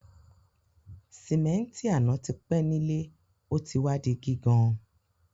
Sìméntì àná ti pẹ́ nílé o ti wa di gígan